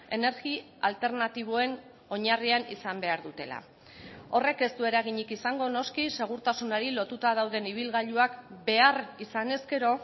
energia alternatiboen oinarrian izan behar dutela horrek ez du eraginik izango noski segurtasunari lotuta dauden ibilgailuak behar izan ezkero